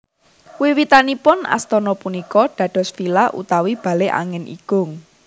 Wiwitanipun astana punika dados villa utawi bale angin igung